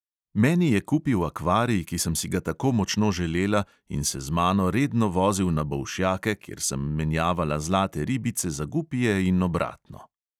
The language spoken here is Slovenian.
Meni je kupil akvarij, ki sem si ga tako močno želela, in se z mano redno vozil na bolšjake, kjer sem menjavala zlate ribice za gupije in obratno.